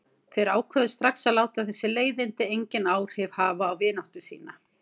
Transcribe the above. Þeir ákváðu strax að láta þessi leiðindi engin áhrif hafa á vináttu sína.